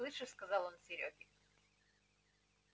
слышишь сказал он серёге